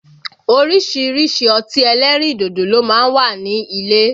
Orísìírísìí ọtí ẹlẹ́rìn dodo ló má ń wà ní ilé